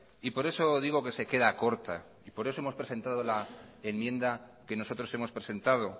y por eso digo que se queda corta y por eso hemos presentado la enmienda que nosotros hemos presentado